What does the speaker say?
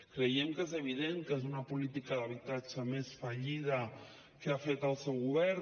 creiem que és evident que és una política d’habitatge més fallida de les que ha fet el seu govern